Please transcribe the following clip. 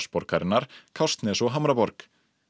borgarinnar Kársnes og Hamraborg